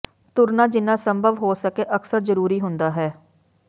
ਤੁਰਨਾ ਜਿੰਨਾ ਸੰਭਵ ਹੋ ਸਕੇ ਅਕਸਰ ਜ਼ਰੂਰੀ ਹੁੰਦਾ ਹੈ